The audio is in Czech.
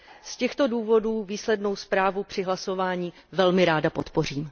Z těchto důvodů výslednou zprávu při hlasování velmi ráda podpořím.